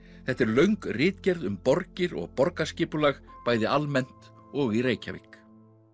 þetta er löng ritgerð um borgir og borgarskipulag bæði almennt og í Reykjavík